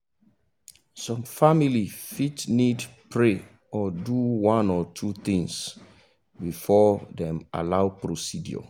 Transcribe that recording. some family fit need pray or do one or two things before them allow procedure